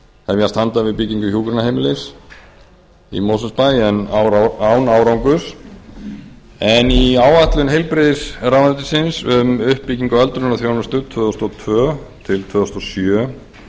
hefjast handa við byggingu hjúkrunarheimilis í mosfellsbæ en án árangurs í áætlun heilbrigðisráðuneytisins um uppbyggingu á öldrunarþjónustu tvö þúsund og tvö til tvö þúsund og sjö